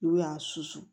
N'u y'a susu